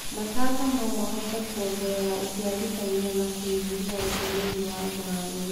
matata no ihote kuongerera ũciarithania na kũnyihia ũtũmĩri wa maĩ.